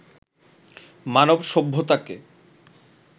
মানব সভ্যতাকে